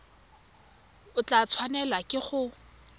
o tla tshwanelwa ke go